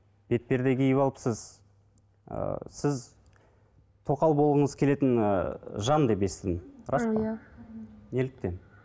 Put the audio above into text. бетперде киіп алыпсыз ыыы сіз тоқал болғыңыз келетін ыыы жан деп естідім рас па иә неліктен